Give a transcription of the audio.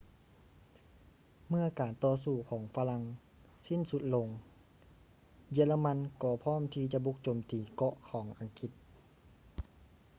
ເມື່ອການຕໍ່ສູ້ຂອງຝຣັ່ງສິ້ນສຸດລົງ ເຢຍລະມັນກໍພ້ອມທີ່ຈະບຸກໂຈມຕີເກາະຂອງອັງກິດ